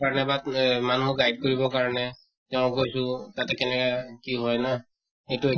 এহ মানুহক guide কৰিব কাৰণে তেওঁক কৈছো তাতে কেনেকা কি হয় না এইটো